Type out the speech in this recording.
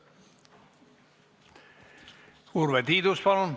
Urve Tiidus, palun!